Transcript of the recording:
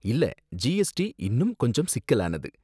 இல்ல ஜிஎஸ்டி இன்னும் கொஞ்சம் சிக்கலானது.